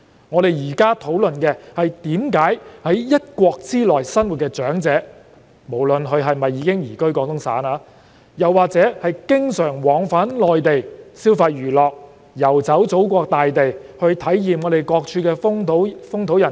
我現在說的是在一國之內生活的長者，不論他們是否已移居廣東省或只是經常往返內地消費娛樂、遊走祖國大地，體驗各處風土人情。